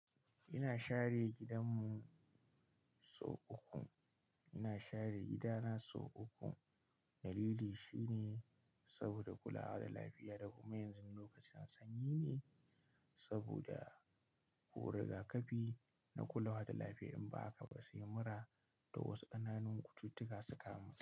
Ina share gidan mu sau uku, ina share gida na sau uku. Dalili shine saboda kulawa da lafiya. Da kuma yanzu lokacin sanyi ne saboda ko rigakafi na kulawa da lafiya in ba haka ba sai mura da wasu kananun cututtuka su kamu.